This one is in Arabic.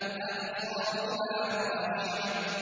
أَبْصَارُهَا خَاشِعَةٌ